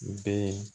U bɛ